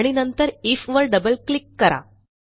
आणि नंतरIFवर double click करा